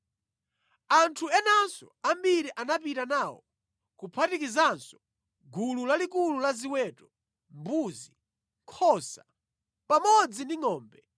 Anthu enanso ambiri anapita nawo, kuphatikizanso gulu lalikulu la ziweto, mbuzi, nkhosa pamodzi ndi ngʼombe.